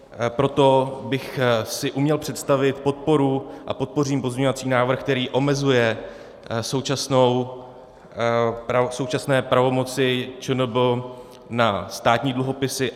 Proto bych si uměl představit podporu a podpořím pozměňovací návrh, který omezuje současné pravomoci ČNB na státní dluhopisy.